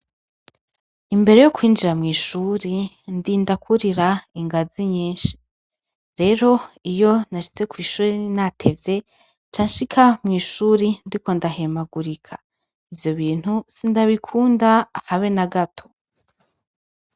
Imbere yo kwinjira mw'ishuri ndinda kwurira ingazi nyinshi. Rero iyo nashitse kw'ishure natevye, nca nshika mw'ishuri ndiko ndahemagurika. Ivyo bintu sindabikunda habe na gato.